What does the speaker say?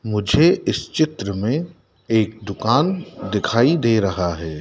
मुझे इस चित्र में एक दुकान दिखाई दे रहा हैं।